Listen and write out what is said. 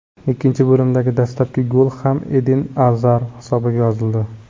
Ikkinchi bo‘limdagi dastlabki gol ham Eden Azar hisobiga yozildi.